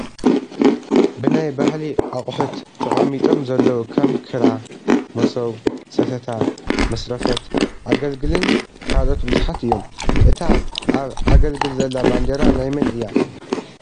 ብናይ ባህሊ ኣቁፁት ተቀሚጦም ዘለዉ ከም ክራ፣ መሶብ፣ ሰተታ፣ መስረፈት፣ አገልግልን ካልኦት ብዙሓት እዮም። እታ ኣብ አገልግል ዘላ ባንዴራ ናይ መን እያ ?